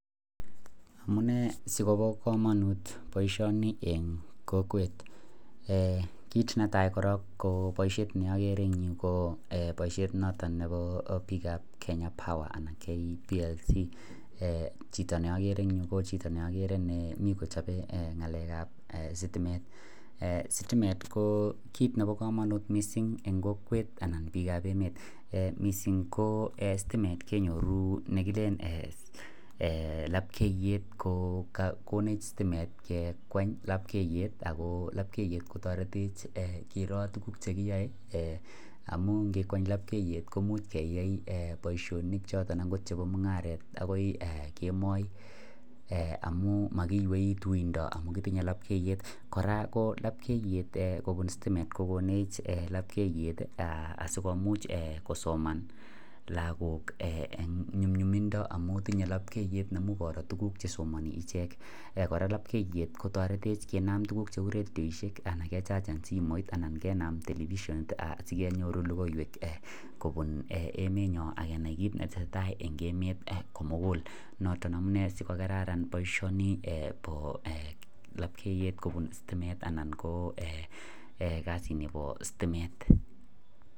Kit netai ko baishet neboo (kenya power) anan ko kplc chito ne akere kochope sitimet nebo kamanut missing eng bik ab kokwet amuu kinyoruu labkeyet komech sitimet ke kweny labkeyet ako taretech kiroo akot yakiae mungaret koraa kokoneny labkeyet asikomuch kosoma lagok